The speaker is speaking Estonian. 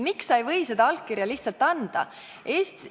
Miks sa ei või seda allkirja lihtsalt anda?